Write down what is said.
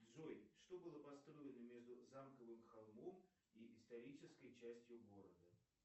джой что было построено между замковым холмом и исторической частью города